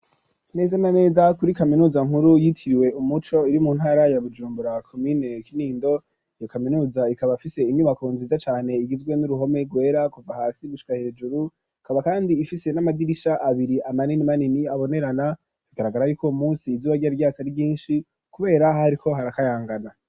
Neza na neza kuri kaminuza nkuru yitiriwe umuco, iri mu ntara ya Bujumbura komine Kinindo, iyo kaminuza ikaba ifise inyubako nziza cane, igizwe n'uruhome rwera kuva hasi gushika hejuru, ikaba kandi ifise n'amadirisha abiri manini manini abonerana; bigaragara y'uko uwo munsi izubaga ryari ryatse ari ryinshi, kubera hariko harakayangana.